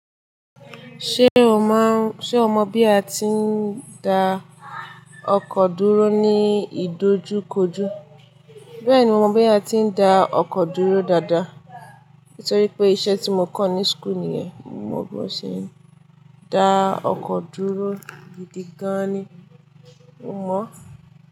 Ṣé o mọ bí a ti ń da ọkọ̀ dúró ní ìdojúkojú? Bẹ́ẹ̀ni, mo mọ bí a ti ń da ọkọ̀ dúró dáadáa. Nítorí pé iṣẹ́ tí mo kọ́ ní school nìyẹn. Mo mọ́ bo ṣe n da ọkọ̀ dúró gidigan ni. Mo mọ.